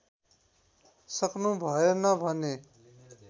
सक्नु भएन भने